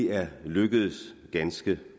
er lykkedes ganske